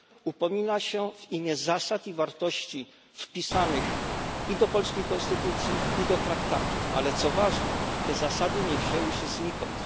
Upomina się w imię zasad i wartości wpisanych i do polskiej konstytucji, i do traktatów, ale co ważne, te zasady nie wzięły się znikąd.